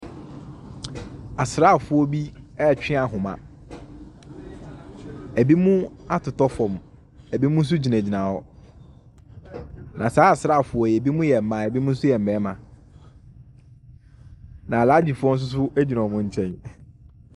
Asrafoɔ bi retwe ahoma. Ebinom atotɔ fam. Ebinom nso gyinagyina hɔ. Na saa asrafoɔ yi binom yɛ mma, binom nso yɛ mmarima. Na alaagyifoɔ bi nso gyina ɔn nkyɛn.